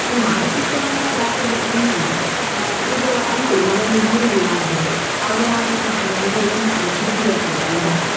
ನಾನು ಮಾನಸಿಕ ಅಂತ ಯಾಕೆ ಹೇಳ್ತೇನೆ ಅಂದ್ರೆ ಅಹ್ ಈಗ ಅನ್ಕೊಳ್ಳಿ ಮನೆಯಲ್ಲಿ ನೀರಿಲ್ಲ ಅಂತ ಹೇಳಿ. ಆಗ ನಾವು ಏನಾಗ್ತೇವೆ ನಮ್ಗೆ ಏನಾಗ್ತದೆ ಕಿರಿ ಕಿರಿ ಆಗ್ತದೆ ಅಲ್ವಾ.